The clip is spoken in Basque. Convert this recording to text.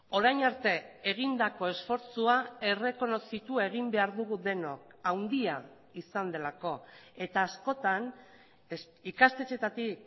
orain arte egindako esfortzua errekonozitu egin behar dugu denok handia izan delako eta askotan ikastetxeetatik